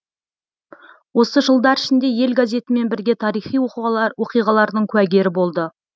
осы жылдар ішінде ел газетімен бірге тарихи оқиғалардың куәгері болды